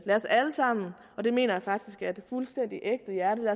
lad os alle sammen og det mener jeg faktisk af et fuldstændig ægte hjerte